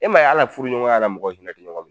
E m'a ye al'a furuɲɔgɔnya la mɔgɔ hinɛ ti ɲɔgɔn m